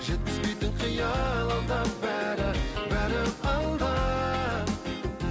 жеткізбейтін қиял алда бәрі бәрі алда